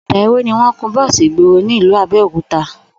Ò̩dà ewé ni wó̩n ń kun bó̩ò̩sì ìgboro ní ìlú Abé̩òkúta